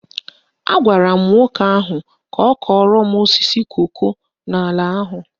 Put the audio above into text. Agwara m nwoke ahụ ka ọ kọrọ m osisi koko n'ala ahụ